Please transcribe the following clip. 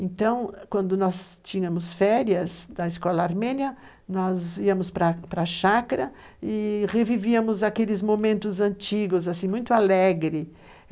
Então, quando nós tínhamos férias na escola armênia, nós íamos para a chácara e revivíamos aqueles momentos antigos, assim, muito alegre.